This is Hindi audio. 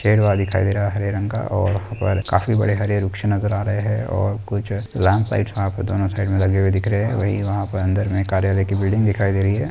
पेड़वा दिखाई दे रहा है। हरे रंग का और वह पर काफी बड़े हरे वृक्ष नजर आ रहे है और कुछ लैंप लाइट्स वहा पे दोनो साईड में लगे हुए दिख रहे है। वहीं वहा पर अंदर मे कार्यालय की बिल्डिंग दिखाई दे रही है।